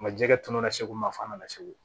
Nka jɛgɛ tununa segu yan f'a nana segu